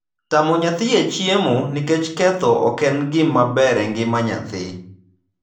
Tamo nyathi e chiemo nikech ketho ok en gima ber e ngima nyathi.